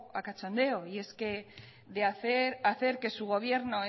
a cachondeo y es que hace su gobierno